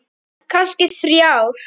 Kannski þrjár.